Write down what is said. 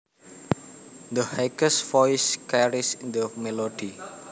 The highest voice carries the melody